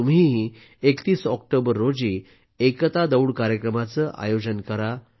तुम्हीही 31 ऑक्टोबर रोजी एकता दौड कार्यक्रमाचे आयोजन करा